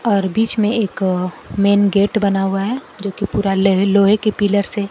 और बीच में एक मेन गेट बना हुआ है जोकि पूरा लेह लोहे के पिलर से--